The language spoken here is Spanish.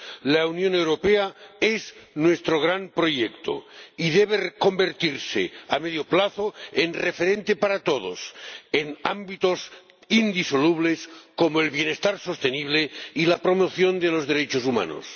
La Unión Europea es nuestro gran proyecto y debe convertirse a medio plazo en referente para todos en ámbitos indisolubles como el bienestar sostenible y la promoción de los derechos humanos.